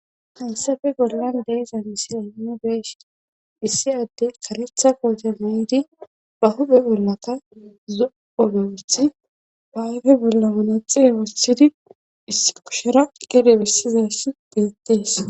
hayssafe bollan deezan isira hinnu beeshi issi adde karetha koote miidi ba hube bollaka zoolowothi bayfe bolla wunexiwossidi isipukushera gede bessizassi deettees